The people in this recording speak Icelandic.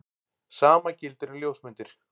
Sama gildir um ljósmyndir.